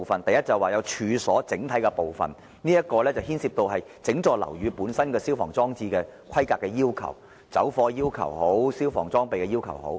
第一是處所的整體部分。這涉及整幢樓宇的消防裝置的規格要求——不論是走火要求，還是消防裝備的要求。